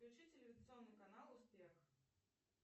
включи телевизионный канал успех